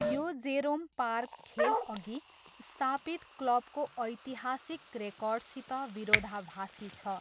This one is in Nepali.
यो जेरोम पार्क खेलअघि स्थापित क्लबको ऐतिहासिक रेकर्डसित विरोधाभासी छ।